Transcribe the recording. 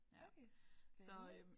Okay spændende